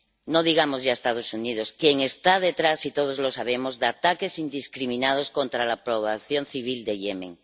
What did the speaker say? No digamos ya los Estados Unidos, que están detrás —y todos lo sabemos— de ataques indiscriminados contra la población civil de Yemen.